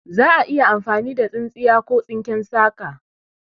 Za'a iya amfani da tsintsiya ko tsinken saka